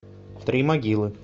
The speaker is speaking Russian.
три могилы